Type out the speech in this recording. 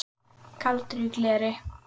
Kaldur í gleri